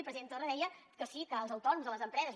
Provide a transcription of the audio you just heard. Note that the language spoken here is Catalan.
el president torra deia que sí que els autònoms o les empreses